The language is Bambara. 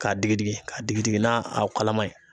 Ka digidigi ka digidigi n'a kalaman ye.